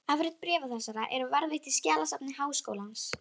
Afrit bréfa þessara eru varðveitt í skjalasafni Háskólans.